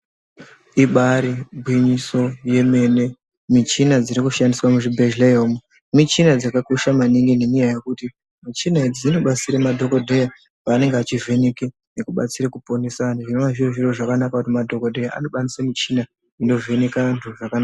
Ibari gwinyiso yemene muchina dziri kushandiswa muzvibhehleya umo muchina dzakakosha maningi nenyaya yekuti muchina idzi dzinobatsire madhokodheya panenge achivheneke nekubatsere kuponesa antu zvinonga zviri zviro zvakanaka kuti madhokodheya nokwanise muchina inovheneke antu zvakanaka.